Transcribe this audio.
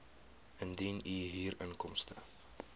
indien u huurinkomste